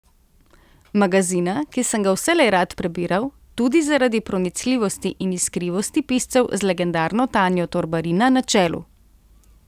Magazina, ki sem ga vselej rad prebiral, tudi zaradi pronicljivosti in iskrivosti piscev z legendarno Tanjo Torbarina na čelu.